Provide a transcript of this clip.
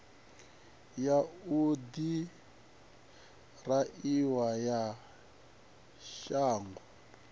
ya u ḓiraiva ya shango